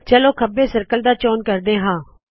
ਚਲੋ ਖੱਬੇ ਸਰਕਲ ਦਾ ਚੋਨ ਕਰਦੇ ਹਾ